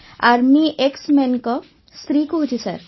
army ଏକ୍ସମେନ୍ ଙ୍କ ସ୍ତ୍ରୀ କହୁଛି ସାର୍